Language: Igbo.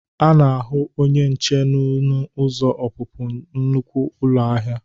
A na-ahụ onye nche n'ọnụ ụzọ ọpụpụ nnukwe ụlọ ahịa.